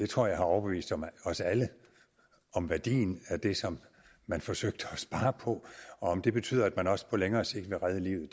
tror jeg har overbevist os alle om værdien af det som man forsøgte at spare på og om det betyder at man også på længere sigt vil redde livet